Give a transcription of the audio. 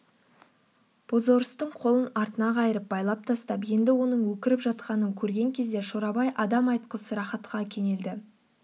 бозорыстың қолын артына қайырып байлап тастап енді оның өкіріп жатқанын көрген кезде шорабай адам айтқысыз рахатқа кенелді